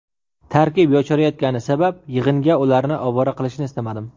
Tarkib yosharayotgani sabab, yig‘inga ularni ovora qilishni istamadim.